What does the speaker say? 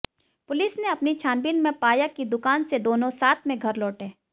police ने अपनी छानबीन में पाया कि दुकान से दोनों साथ में घर लौटे